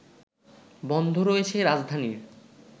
বন্ধ রয়েছে রাজধানীর